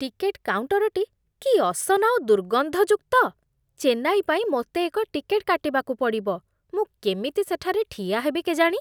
Ticket କାଉଣ୍ଟରଟି କି ଅସନା ଓ ଦୁର୍ଗନ୍ଧଯୁକ୍ତ! ଚେନ୍ନାଇ ପାଇଁ ମୋତେ ଏକ ଟିକେଟ୍ କାଟିବାକୁ ପଡ଼ିବ, ମୁଁ କେମିତି ସେଠାରେ ଠିଆ ହେବି କେଜାଣି?